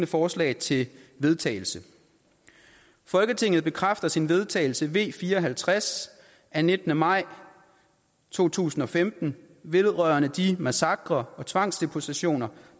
forslag til vedtagelse folketinget bekræfter sin vedtagelse v fire og halvtreds af nittende maj to tusind og femten vedrørende de massakrer og tvangsdeportationer